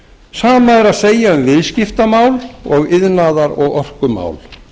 sama er að segja um viðskiptamál og iðnaðar og orkumál